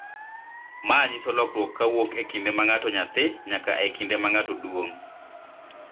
Ma nyiso lokruok kowuok e kinde ma ng'ato nyathi nyaka e kinde ma oduong�.